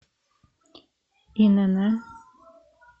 инн